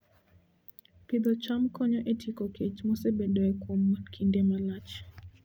Pidho cham konyo e tieko kech mosebedoe kuom kinde malach